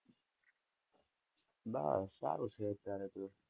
બસ, સારું છે અત્યારે તો